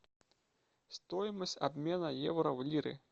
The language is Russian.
стоимость обмена евро в лиры